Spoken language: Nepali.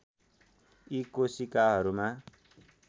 यी कोशिकाहरूमा